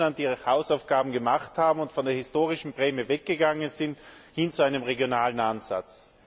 Deutschland, ihre Hausaufgaben gemacht haben und von der historischen Prämie weggegangen sind hin zu einem regionalen Ansatz.